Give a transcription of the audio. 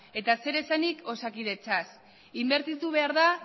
eta zer esanik osakidetzaz inbertitu behar da